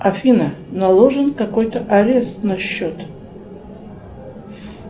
афина наложен какой то арест на счет